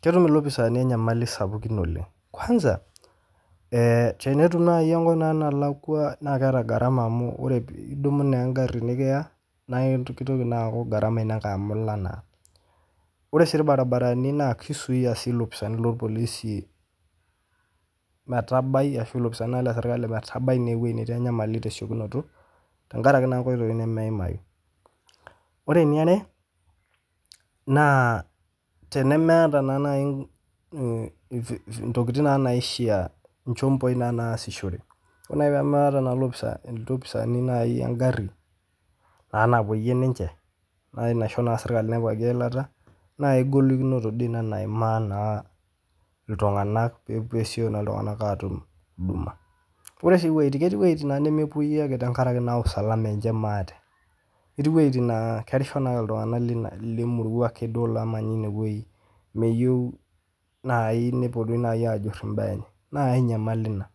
Ketum ilopisaani inyamali sapukin oleng kwanza tenetu nai eweji nalakwa naa keata gharama amu idumu naa ing'arii nikiwa anaa iltuktuk naa gharama ina ngae amu ilka naa, ore sii irbaribarani naa keisuuya sii lopisaani loolpolisi metabai ashu ilopisaani le sirkali metabai ineweji netii inyamali te siekunoto tengaraki naa nkoitoi nemeimayu, ore neare naa tenemeata naii ntokitin naii naishaa, nchomboi naa naasishore, ore naa enemeeta lopisaa lopisaani naai eng'arri naa napoiye ninche naa naisho sirkali nepikaki ill'ata naa ingolikinoto doi ina naimaa naa ltunganak peesioki naa ltunganak aatum huduma ore sii ketii wjitin nemepoi ake tengaraki naa usalama enche maate, etii wejitin naa kerisho naa ltungana le murrua ake duo oo lomanya ineweji, meyeu naii nepo naii duo aajurr imbaa enye, naa inyamali ina,